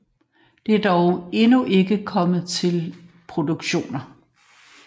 Det er dog endnu ikke kommet til produktioner